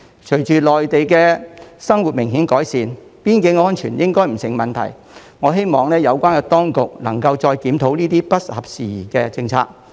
隨着內地的生活明顯改善，邊境安全應不成問題，我希望有關當局能再檢討這些不合時宜的政策。